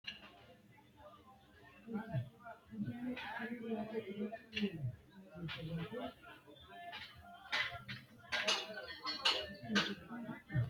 Oosichi’ne mine loosara uynoonni loosira beeqqo asse; lawishshaho anna, ama woy wole maatete miilla qaali xa’mo assa, hasaawu borro qixxeessi’ra, hasaawa rosiisi’ra.